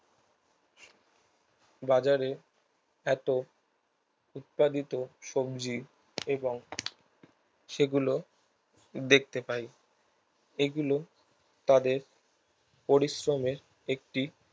বাজারে এত উৎপাদিত সবজি এবং সেগুলো দেখতে পাই এগুলো তাদের পরিশ্রমের একটি